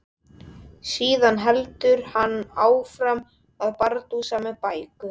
Síðan heldur hann áfram að bardúsa með bækur.